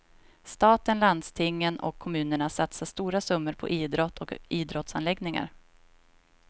Staten, landstingen och kommunerna satsar stora summor på idrott och idrottsanläggningar.